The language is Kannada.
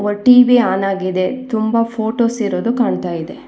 ಟಿ_ವಿ ಆನ್ ಆಗಿದೆ ತುಂಬಾ ಫೋಟೋಸ್ ಇರೋದು ಕಾಣ್ತಾಯಿದೆ.